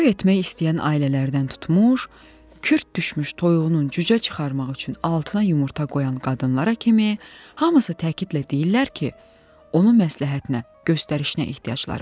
Toy etmək istəyən ailələrdən tutmuş, kürt düşmüş toyuğunun cücə çıxarmaq üçün altına yumurta qoyan qadınlara kimi, hamısı təkidlə deyirlər ki, onu məsləhətinə, göstərişinə ehtiyacları var.